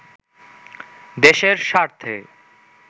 দেশের সার্থে